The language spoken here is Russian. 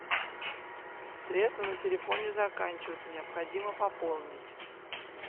средства на телефоне заканчиваются необходимо пополнить